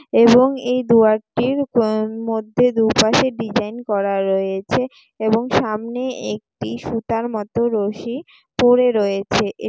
এবং এই দুয়ার টির কং মধ্যে দুপাশে ডিজাইন করা রয়েছে এবং সামনে একটি সুতার মতো রশি পড়ে রয়েছে। এক--